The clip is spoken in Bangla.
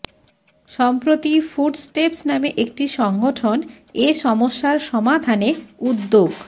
সম্প্র্রতি ফুটস্টেপস নামে একটি সংগঠন এ সমস্যার সমাধানে উদ্যোগ